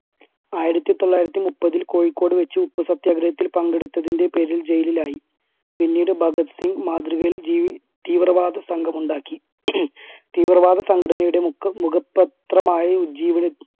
ആയിരത്തി തൊള്ളായിരത്തി മുപ്പതിൽ കോഴിക്കോട് വെച്ച് ഉപ്പുസത്യാഗ്രഹത്തിൽ പങ്കെടുത്തതിന്റെ പേരിൽ jail ലായി. പിന്നീട് ഭഗത് സിംഗ് മാതൃകയിൽ ജി തീവ്രവാദസംഘം ഉണ്ടാക്കി തീവ്രവാദ സംഘടനയുടെ മുഖം മുഖപത്രമായി ഉജീവന്~